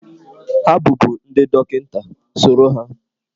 Ha bụbu ndị dọkịta, soro ha!